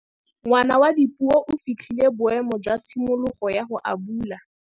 Ngwana wa Dipuo o fitlhile boêmô jwa tshimologô ya go abula.